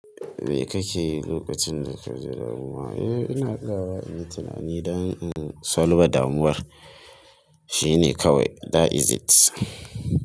Me kake yi lokacin da ka ji damuwa? Eh, ina tsayawa in yi tunani don in salba damuwar. Shi ne kawai. That is it.